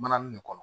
Mananin de kɔnɔ